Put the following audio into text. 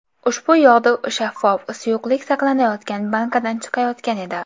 Ushbu yog‘du shaffof suyuqlik saqlanayotgan bankadan chiqayotgan edi.